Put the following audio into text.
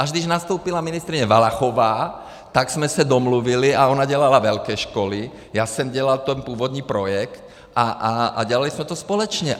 Až když nastoupila ministryně Valachová, tak jsme se domluvili a ona dělala velké školy, já jsem dělal ten původní projekt a dělali jsme to společně.